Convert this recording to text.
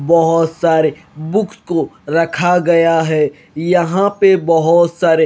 बहोत सारे बुक्स को रखा गया है यहां पे बहोत सारे--